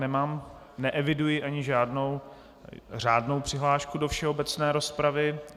Nemám, neeviduji ani žádnou řádnou přihlášku do všeobecné rozpravy.